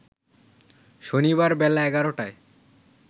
শনিবার বেলা ১১টায়